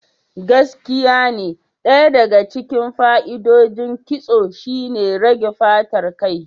Gaskiyane, Ɗaya daga cikin fa'idodin ƙitso shine rage fatar kai.